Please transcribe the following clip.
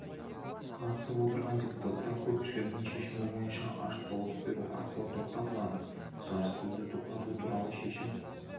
қатысып отырған депутаттар көпшілігінің шешімі бойынша ашық дауыс беру арқылы тоқтатылады жарыссөзді тоқтату туралы шешім